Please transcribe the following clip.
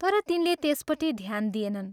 तर तिनले त्यसपट्टि ध्यान दिएनन्।